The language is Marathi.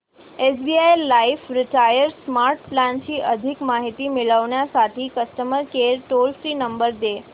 SBI life retire smart plan ची अधिक माहिती मिळविण्यासाठी customer care toll free number दे